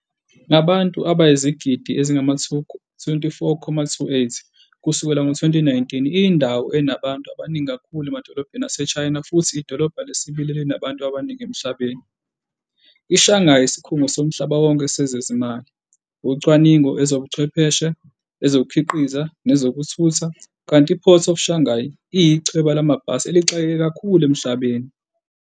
Ngabantu abayizigidi ezingama-24.28 kusukela ngo-2019, iyindawo enabantu abaningi kakhulu emadolobheni aseChina futhi idolobha lesibili elinabantu abaningi emhlabeni. IShanghai iyisikhungo somhlaba wonke sezezimali, ucwaningo, ezobuchwepheshe, ezokukhiqiza nezokuthutha, kanti iPort of Shanghai iyichweba lamabhasi elixakeke kakhulu emhlabeni.